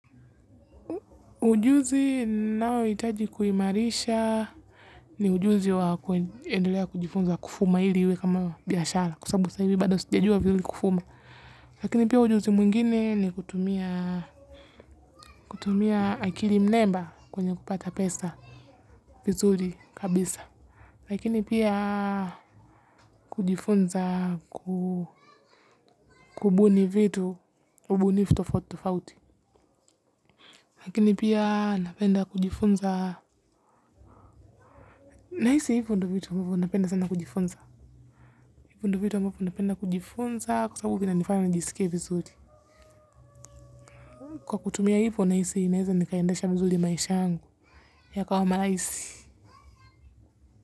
Ujuzi naohitaji kuimarisha ni ujuzi wa kuendelea kujifunza kufuma ili iwe kama biashara kwa sababu sahii hivi bado sijajua vizuri kufuma. Lakini pia ujuzi mwingine ni kutumia akili mnemba kwenye kupata pesa vizuri kabisa. Lakini pia kujifunza kubuni vitu ubunifu tofauti tofauti lakini pia napenda kujifunza. Nahisi hivu ndo vitu ambavyo napenda sana kujifunza. Hivu ndo vitu ambavyo napenda kujifunza kwa sababu vinanifanya nijisike vizuri. Kwa kutumia hivo nahisi naeza nikaendesha vizuri maisha yangu yakawa maraahisi.